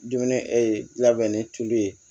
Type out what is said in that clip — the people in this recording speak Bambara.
Dumuni ee labɛn ni tulu ye